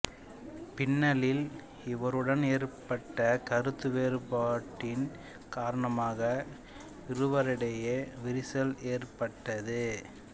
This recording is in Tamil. பின்னாளில் இவருடன் ஏற்பட்ட கருத்து வேறுபாட்டின் காரணமாக இருவரிடையே விரிசல் ஏற்பட்டது